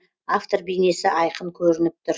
әңгіменің әр жағынан автор бейнесі айқын көрініп тұр